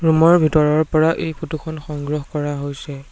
Room ৰ ভিতৰৰ পৰা এই ফটো খন সংগ্ৰহ কৰা হৈছে।